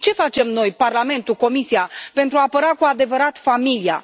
Ce facem noi, Parlamentul, Comisia pentru a apăra cu adevărat familia?